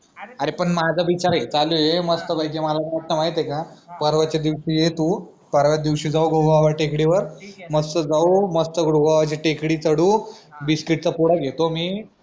अरे पण माझा विचार एक चालू ए मस्त पैकी मला एक रास्ता माहिती ये का पर्वाचा दिवशी ये तू पर्वाचा दिवशी जावं गोगोव टेकडीवर मस्त जावं मस्त गोड्गावाची टेकडी चढू बिस्कीट चा पुडा घेतो मी